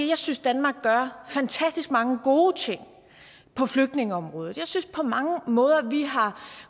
jeg synes danmark gør fantastisk mange gode ting på flygtningeområdet jeg synes på mange måder har